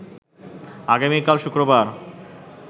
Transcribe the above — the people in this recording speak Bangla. আগামীকাল শুক্রবার